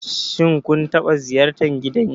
Shin kun taɓa ziyartar gidan yari?